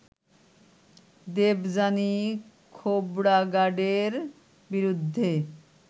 দেবযানী খোবড়াগাডের বিরুদ্ধে